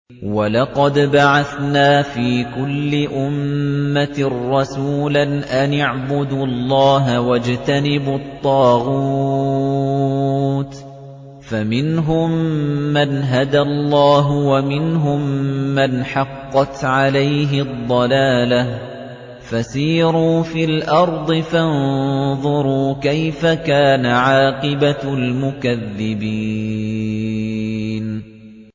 وَلَقَدْ بَعَثْنَا فِي كُلِّ أُمَّةٍ رَّسُولًا أَنِ اعْبُدُوا اللَّهَ وَاجْتَنِبُوا الطَّاغُوتَ ۖ فَمِنْهُم مَّنْ هَدَى اللَّهُ وَمِنْهُم مَّنْ حَقَّتْ عَلَيْهِ الضَّلَالَةُ ۚ فَسِيرُوا فِي الْأَرْضِ فَانظُرُوا كَيْفَ كَانَ عَاقِبَةُ الْمُكَذِّبِينَ